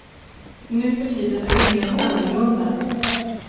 Nu för tiden är det helt annorlunda.